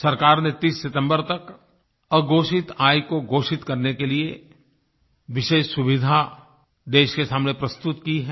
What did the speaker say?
सरकार ने 30 सितम्बर तक अघोषित आय को घोषित करने के लिए विशेष सुविधा देश के सामने प्रस्तुत की है